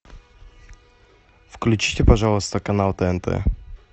включите пожалуйста канал тнт